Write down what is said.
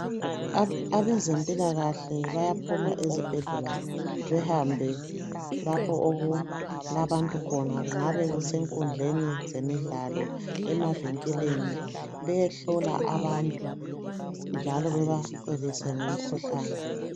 Abezimpilakahle bayaphuma ezibhedlela behambe lapho okulabantu khona kungabe kusenkundleni zemidlalo emavenkeleni bayehlola abantu njalo babacebise ngamikhuhlane .